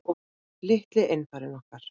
Litli einfarinn okkar.